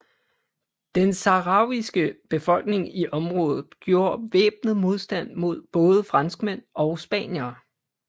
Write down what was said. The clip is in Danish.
Den sahrawiske befolkning i området gjorde væbnet modstand mod både franskmænd og spaniere